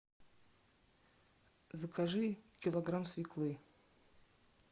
закажи килограмм свеклы